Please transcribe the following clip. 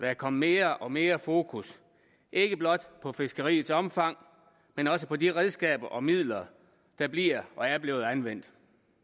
er kommet mere og mere fokus ikke blot på fiskeriets omfang men også på de redskaber og midler der bliver og er blevet anvendt